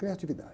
Criatividade.